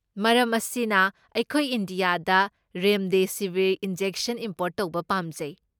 ꯃꯔꯝ ꯑꯁꯤꯅ, ꯑꯩꯈꯣꯏ ꯏꯟꯗꯤꯌꯥꯗ ꯔꯦꯝꯗꯦꯁꯤꯕꯤꯔ ꯏꯟꯖꯦꯛꯁꯟ ꯏꯝꯄꯣꯔꯠ ꯇꯧꯕ ꯄꯥꯝꯖꯩ꯫